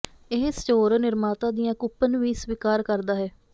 ਇਹ ਸਟੋਰ ਨਿਰਮਾਤਾ ਦੀਆਂ ਕੂਪਨ ਵੀ ਸਵੀਕਾਰ ਕਰਦਾ ਹੈ